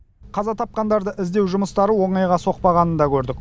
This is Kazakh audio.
қаза тапқандарды іздеу жұмыстары оңайға соқпағанын да көрдік